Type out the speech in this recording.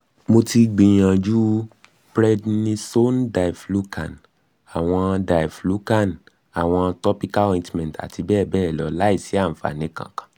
mo ti gbìyànjú prednisone diflucan àwọn diflucan àwọn topical ointment àti bẹ́ẹ̀ bẹ́ẹ̀ lọ láìsí àfààní kankan